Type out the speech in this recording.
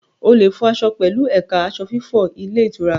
O lè fọ aṣọ pẹ̀lú ẹ̀ka aṣọ fífọ ilé ìtura.